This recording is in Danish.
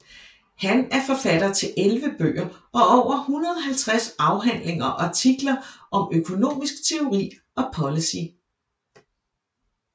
Han er forfatter til 11 bøger og over 150 afhandlinger og artikler om økonomisk teori og policy